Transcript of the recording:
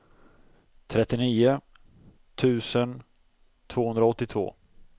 trettionio tusen tvåhundraåttiotvå